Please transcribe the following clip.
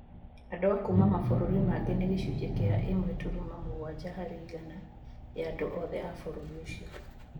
Andũ a kuuma mabũrũri mangĩ nĩ gĩcunjĩ kĩa ĩmwe turuma mũgwanja harĩ igana ya andũ othe a bũrũri ũcio.